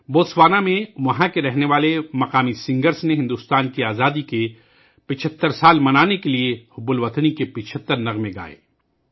Botswana میں مقامی گلوکاروں نے بھارت کی آزادی کے 75 سال منانے کے لئے حب الوطنی کے 75 گیت گائے